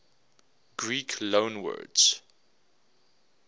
greek loanwords